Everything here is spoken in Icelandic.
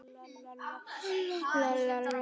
Írska blóðið?